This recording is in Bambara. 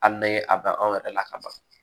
Hali ni ye a dan anw yɛrɛ la ka ban